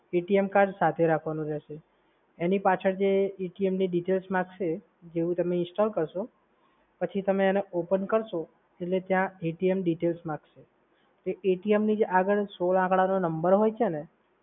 card સાથે રાખવાનું રહેશે. એની પાછળ જે ની માહિતી માંગશે જેવુ તમે install કરશો પછી તમે એને open કરશો એટલે ત્યાં atm details માંગશે. એ atm ની આગળ જે સોળ આંકડાનો જે નંબર હોય છે ને